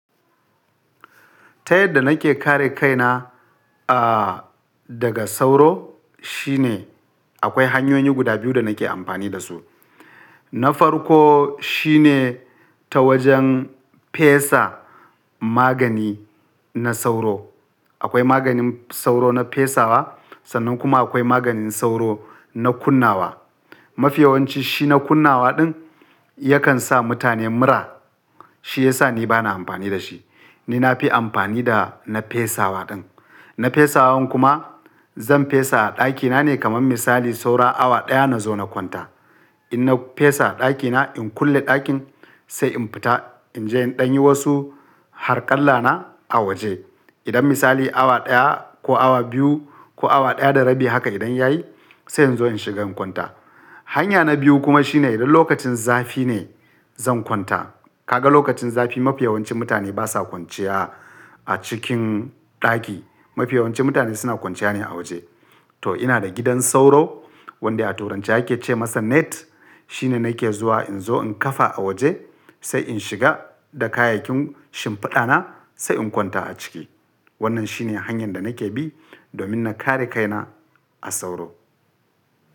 Ta yadda nake kare kaina, a, daga sauro shine akwai hanyoyi guda biyu da nake amfani da su. Na farko shine ta wajen fesa magani na sauro. Akwai maganin sauro na fesawa sannan kuma akwai maganin sauro na kunnawa. Mafi yawanci shi na kunnawa ɗin yakan sa mutane mura. Shi ya sa ni bana amfani da shi. Ni na fi amfani da na fesawa ɗin. Na fesawan kuma, zan fesa a ɗakina ne kamar misali saura awa ɗaya na zo na kwanta. In na fesa ɗakina, in kulle ɗakin sai in fita in je in ɗanyi wasu harƙalla na a waje. Idan misali awa ɗaya ko awa biyu ko awa ɗaya da rabi haka idan yayi sai in zo in shiga in kwanta. Hanya na biyu kuma shine idan lokacin zafi ne, zan kwanta Kaga lokacin zafi mafi yawancin mutane basa kwanciya a cikin ɗaki. Mafi yawancin mutane suna kwanciya ne a waje. To ina da gidan sauro wanda a turance ake ce masa net. Shine nake zuwa in zo in kafa a waje sai in shiga da kayakin shimfiɗa na sai in kwanta a ciki. Wannan shine hanyar da nake bi domin na kare kaina a sauro.